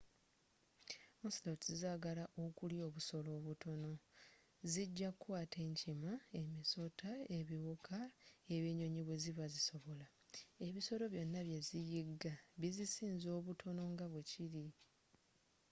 ocelots zaagala okulya obusolo obutono zijja kukwata enkima emisota ebiwuka ebinyonyi bwe ziba zisobola ebisolo byonna bye ziyigga bizisinga obutono nga bwe kiri